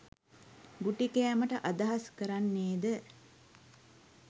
ගුටි කෑමට අදහස් කරන්නේද?